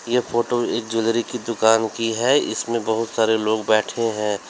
यह फोटो एक ज्वेलरी की दुकान की है इसमें बहुत सारे लोग बैठे हैं।